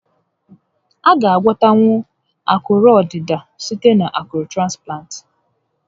A ga a gwọnwu akụrụ ọdịda site na akụrụ transplant